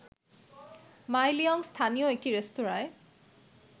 মাই Liyong স্থানীয় একটি রেস্তোরাঁয়